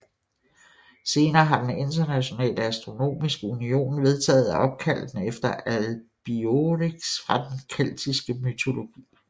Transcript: Senere har den Internationale Astronomiske Union vedtaget at opkalde den efter Albiorix fra den keltiske mytologi